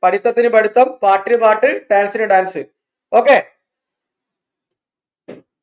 പഠിത്തത്തിന് പഠിത്തം പാട്ടിന് പാട്ട് dance ന് dance okay